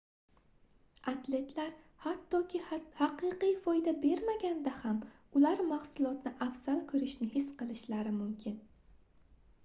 atletlar hattoki haqiqiy foyda bermaganida ham ular mahsulotni afzal koʻrishni his qilishlari mumkin